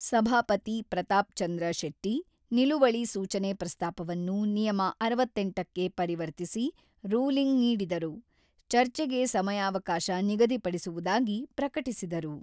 ಸಭಾಪತಿ ಪ್ರತಾಪ್‌ಚಂದ್ರ ಶೆಟ್ಟಿ, ನಿಲುವಳಿ ಸೂಚನೆ ಪ್ರಸ್ತಾಪವನ್ನು ನಿಯಮ ಅರವತ್ತೆಂಟಕ್ಕೆ ಪರಿವರ್ತಿಸಿ ರೂಲಿಂಗ್ ನೀಡಿದರು, ಚರ್ಚೆಗೆ ಸಮಯಾವಕಾಶ ನಿಗದಿಪಡಿಸುವುದಾಗಿ ಪ್ರಕಟಿಸಿದರು.